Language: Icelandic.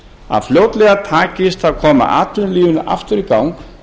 að fljótlega takist að koma atvinnulífinu aftur í gang